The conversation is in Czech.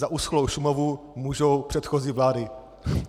Za uschlou Šumavu můžou předchozí vlády.